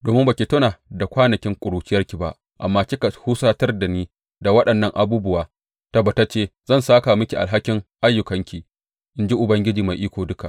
Domin ba ki tuna da kwanakin ƙuruciyarki ba amma kika husatar da ni da waɗannan abubuwa, tabbatacce zan sāka miki alhakin ayyukanki, in ji Ubangiji Mai Iko Duka.